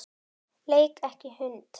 Leik ekki hund.